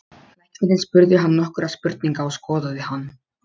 Læknirinn spurði hann nokkurra spurninga og skoðaði hann.